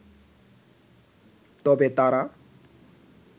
তবে তারা